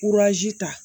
ta